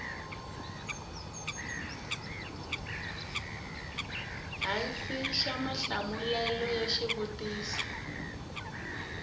hansi xa mahlamulelo ya xivutiso